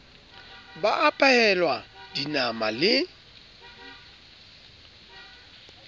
ba a phehelwa dinama le